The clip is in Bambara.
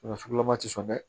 sugulama tɛ sɔn dɛ